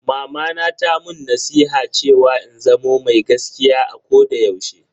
Mamana ta mun nasiha cewa in zamo mai gaskiya a koda yaushe.